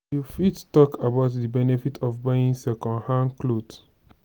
you fit talk about di benefits of buying second-hand clothing.